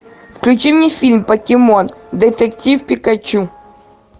включи мне фильм покемон детектив пикачу